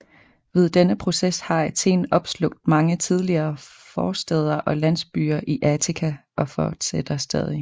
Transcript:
Ved denne proces har Athen opslugt mange tidligere forstæder og landsbyer i Attika og fortsætter stadig